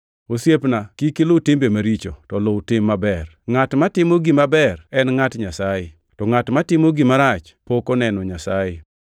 Osiepna, kik iluw timbe maricho, to luw tim maber. Ngʼat matimo gima ber en ngʼat Nyasaye, to ngʼat matimo gima rach pok oneno Nyasaye.